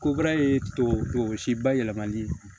Ko baara ye tubabu tɔ si ba yɛlɛmali